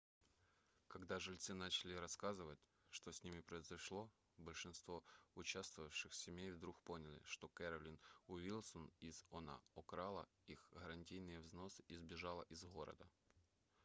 когда жильцы начали рассказывать что с ними произошло большинство участвовавших семей вдруг поняли что кэролин уилсон из oha украла их гарантийные взносы и сбежала из города